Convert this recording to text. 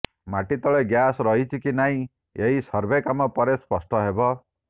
ମାଟି ତଳେ ଗ୍ୟାସ୍ ରହିଛି କି ନାହିଁ ଏହି ସର୍ଭେ କାମ ପରେ ସ୍ପଷ୍ଟ ହେବ